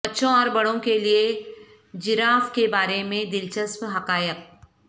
بچوں اور بڑوں کے لئے جراف کے بارے میں دلچسپ حقائق